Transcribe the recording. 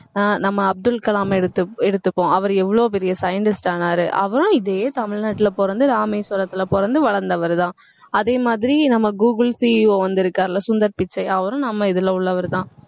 ஆஹ் நம்ம அப்துல் கலாம் எடுத்துக்~ எடுத்துக்குவோம் அவரு எவ்வளவு பெரிய scientist ஆனாரு அவரும் இதே தமிழ்நாட்டுல பொறந்து ராமேஸ்வரத்துல பொறந்து வளர்ந்தவர்தான் அதே மாதிரி நம்ம கூகுள் CEO வந்திருக்காருல்ல சுந்தர் பிச்சை அவரும் நம்ம இதுல உள்ளவர்தான்